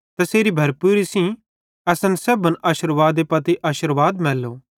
तैसेरी भरपूरी सेइं यानी तैसेरे सारे अनुग्रह ते सच़्च़ाई सेइं असन सेब्भन आशिर्वाद पत्ती आशिर्वाद मैल्लू